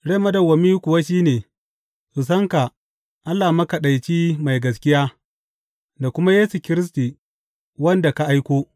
Rai madawwami kuwa shi ne, su san ka, Allah makaɗaici mai gaskiya, da kuma Yesu Kiristi, wanda ka aiko.